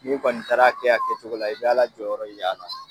N'i kɔni taara kɛ a kɛcogo la i be ala jɔyɔrɔ ye a la